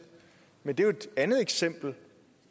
men det er jo et andet eksempel